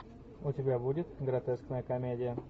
у тебя будет гротескная комедия